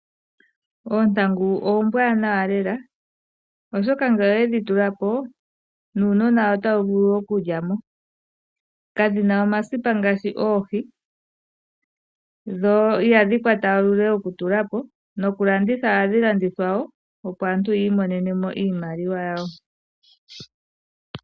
Oontangu oombwaanawa lela, oshoka ngele owedhi tula po, nuunona otawu vulu okulya mo. Kadhina omasipa ngaashi oohi, dho ihadhi kwata uule wethimbo okutula po, nokulandithwa ohadhi landithwa po wo opo aantu yiimonene mo iimaliwa yawo.